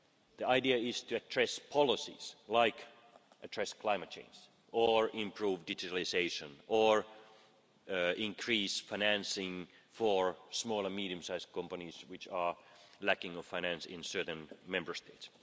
The idea is to address policies like climate change or improve digitalisation or increase financing for small and medium sized companies, which are lacking finance in certain Member States.